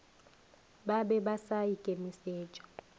ba be ba sa ikemišetša